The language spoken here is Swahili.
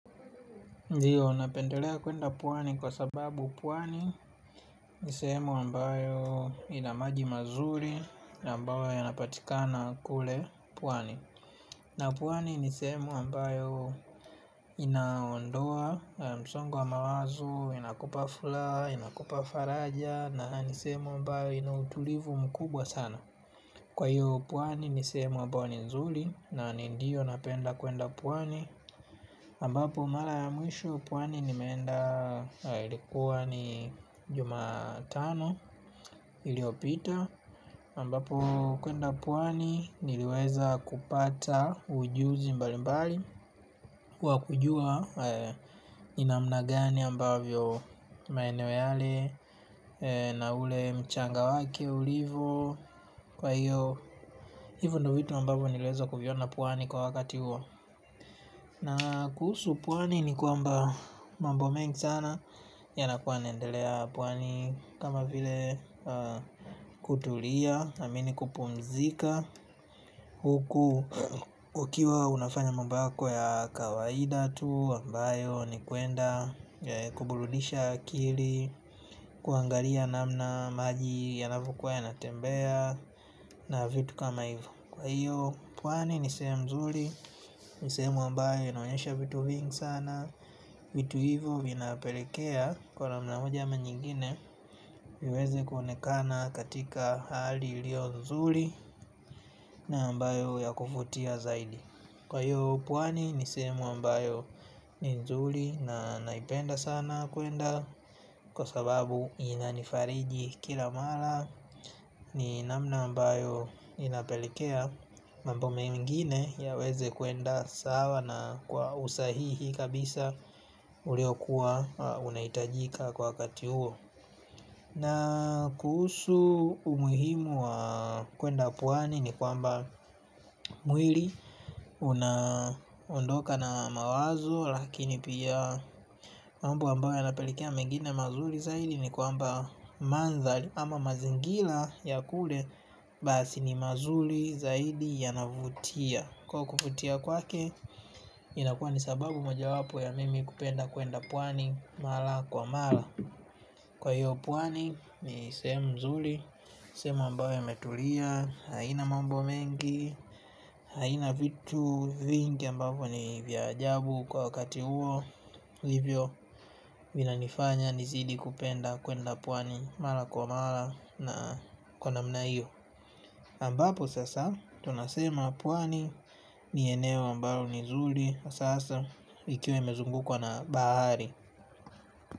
Ndiyo, napendelea kuenda pwani kwa sababu pwani ni sehemu ambayo ina maji mazuri na ambayo inapatikana kule pwani. Na pwani ni sehemu ambayo inaondoa msongo wa mawazo inakupa furaha, inakupa faraja. Na ni sehemu ambayo ina utulivu mkubwa sana. Kwa hiyo pwani ni sehemu ambayo ni nzuri na ni ndiyo napenda kuenda pwani ambapo mara ya mwisho pwani nimeenda ilikuwa ni jumatano iliyopita ambapo kuenda pwani niliweza kupata ujuzi mbali mbali wa kujua. Ni namna gani ambavyo maeneo yale na ule mchanga wake ulivo kwa hiyo hivo ndo vitu ambavyo niliweza kuviona pwani kwa wakati huo. Na kuhusu pwani ni kwamba mambo mengi sana yanakuwa yanaendelea pwani kama vile kutulia naamini kupumzika huku ukiwa unafanya mambo yako ya kawaida tu ambayo ni kuenda kuburudisha akili kuangalia namna maji yanavokuwa yanatembea na vitu kama ivo. Kwa hiyo pwani ni sehemu nzuri ni sehemu ambayo inaonyesha vitu vingi sana. Vitu hivyo vinapelekea kwa namna moja ama nyigine viweze kuonekana katika hali iliyo nzuri na ambayo ya kuvutia zaidi. Kwa hiyo pwani ni sehemu ambayo ni nzuri na naipenda sana kuenda. Kwa sababu inanifariji kila mara ni namna ambayo inapelekea mambo mengine yaweze kuenda sawa na kwa usahihi kabisa ulio kuwa unahitajika kwa wakati huo. Na kuhusu umuhimu wa kuenda pwani ni kwamba mwili unaondoka na mawazo lakini pia mambo ambayo yanapelekea mengine mazuri zaidi ni kwamba mandhari ama mazingira ya kule basi ni mazuri zaidi yanavutia. Kwa kuvutia kwake inakuwa ni sababu moja wapo ya mimi kupenda kuenda pwani mara kwa mara. Kwa hiyo pwani ni sehemu nzuri, sehemu ambayo imetulia, haina mambo mengi, haina vitu vingi ambavyo ni vya ajabu kwa wakati huo. Hivyo vinanifanya nizidi kupenda kuenda pwani mara kwa mara na kwa namna hiyo ambapo sasa tunasema pwani ni eneo ambalo ni zuri hasa ikiwa imezungukwa na bahari.